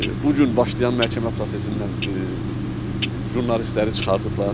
Bu gün başlayan məhkəmə prosesindən jurnalistləri çıxartıblar.